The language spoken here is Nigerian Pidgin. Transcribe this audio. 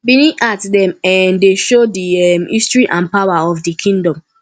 benin art dem um dey show di um history and power of di kingdom